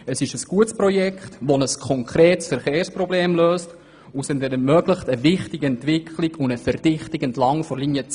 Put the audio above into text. Es handelt sich um ein gutes Projekt, welches ein konkretes Verkehrsproblem löst, und es ermöglicht eine wichtige Entwicklung und Verdichtung entlang der Linie 10.